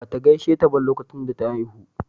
Bata gaisheta ba lokacin da ta haihu.